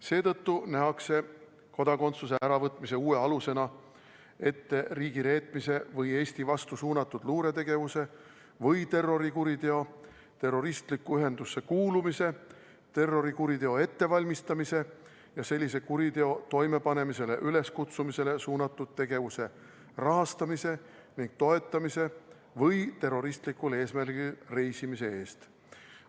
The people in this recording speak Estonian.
Seetõttu nähakse kodakondsuse äravõtmise uue alusena ette riigireetmise või Eesti vastu suunatud luuretegevuse või terrorikuriteo, terroristlikku ühendusse kuulumise, terrorikuriteo ettevalmistamise ja sellise kuriteo toimepanemisele üleskutsumisele suunatud tegevuse rahastamise ja toetamise või terroristlikul eesmärgil reisimise eest.